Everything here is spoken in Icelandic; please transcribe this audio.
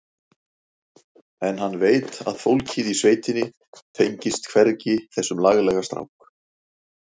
En hann veit að fólkið í sveitinni tengist hvergi þessum laglega strák.